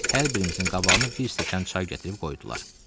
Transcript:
Hər birimizin qabağına bir stəkan çay gətirib qoydular.